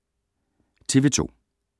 TV 2